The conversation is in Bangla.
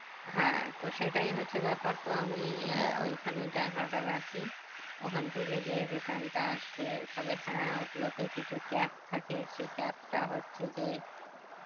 হ্যাঁ তো সেটাই হচ্ছে ব্যাপার তো আমি আহ ওই খানেই টাকাটা রাখি ওখান থেকে যে return টা আসবে তবে হ্যাঁ ও গুলোতে কিছু cap থেকে সেই cap টা হচ্ছে যে